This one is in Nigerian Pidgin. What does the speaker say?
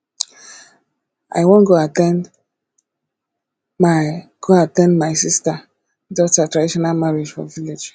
i wan go at ten d my go at ten d my sister daughter traditional marriage for village